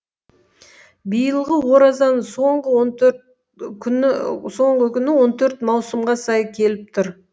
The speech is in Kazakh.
биылғы оразаның соңғы күні он төрт маусымға сай келіп тұр